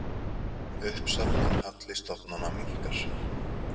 Uppsafnaður halli stofnana minnkar